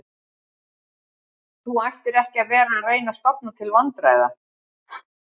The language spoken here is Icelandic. Þú ættir ekki að vera að reyna að stofna til vandræða